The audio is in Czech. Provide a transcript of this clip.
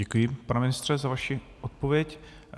Děkuji, pane ministře, za vaši odpověď.